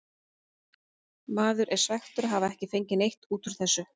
Maður er svekktur að hafa ekki fengið neitt út úr þessu.